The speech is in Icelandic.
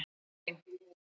laun mín.